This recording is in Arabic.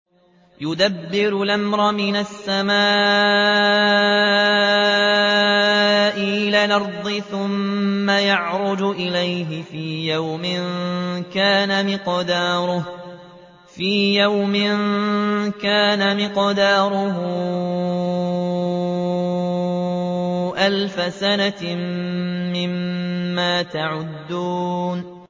يُدَبِّرُ الْأَمْرَ مِنَ السَّمَاءِ إِلَى الْأَرْضِ ثُمَّ يَعْرُجُ إِلَيْهِ فِي يَوْمٍ كَانَ مِقْدَارُهُ أَلْفَ سَنَةٍ مِّمَّا تَعُدُّونَ